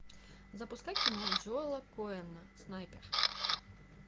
запускай кино джоэла коэна снайпер